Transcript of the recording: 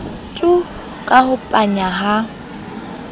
tu ka ho panya ha